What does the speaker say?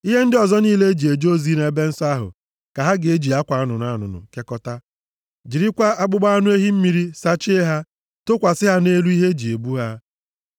“Ihe ndị ọzọ niile e ji eje ozi nʼebe nsọ ahụ ka ha ga-eji akwa anụnụ anụnụ kekọtaa, jirikwa akpụkpọ anụ ehi mmiri sachie ha, tụkwasị ha nʼelu ihe e ji ebu ha.